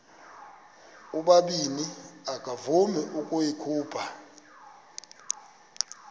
ubabini akavuma ukuyikhupha